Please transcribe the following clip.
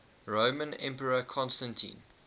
roman emperor constantine